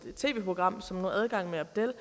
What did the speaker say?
tv program adgang med abdel